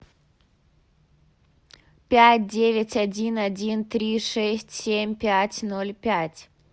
пять девять один один три шесть семь пять ноль пять